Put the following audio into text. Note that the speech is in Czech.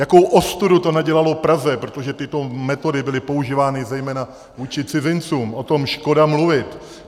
Jakou ostudu to nadělalo Praze, protože tyto metody byly používány zejména vůči cizincům, o tom škoda mluvit.